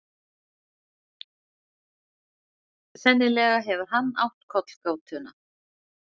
Sennilega hefur hann átt kollgátuna.